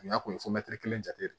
N'a kun ye kelen jate de